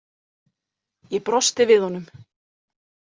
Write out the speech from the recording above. Ég brosti við honum.